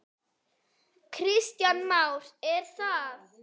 Kristján Már: Er það?